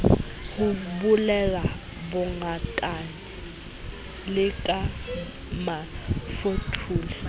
ho bulela bongatane le ramafothole